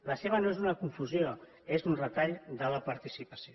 la seva no és una confusió és un retall de la participació